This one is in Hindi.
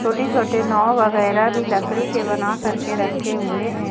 छोटे छोटे नाव वगैरा भी लकड़ी के बना करके रखे हुए हैं।